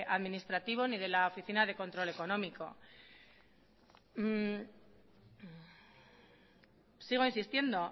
administrativo ni de la oficina de control económico sigo insistiendo